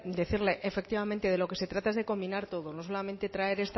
decirle efectivamente de lo que se trata es de combinar todo no solamente traer